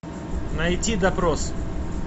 найти допрос